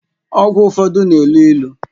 Ọgwụ ụfọdụ na-elu ilu